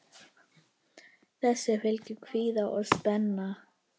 Þessu fylgir kvíði og spenna.